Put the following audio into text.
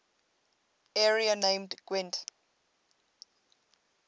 area named gwent